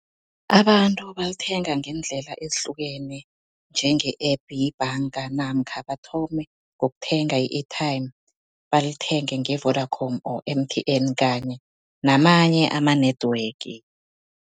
Abantu balithenga ngeendlela ezihlukene njenge-app yebhanga namkha bathome ngokuthenga i-airtime, balithenge nge-Vodacom or M_T_N kanye namanye ama-network.